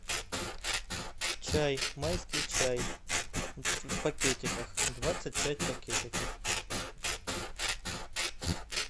чай майский чай в пакетиках двадцать пять пакетиков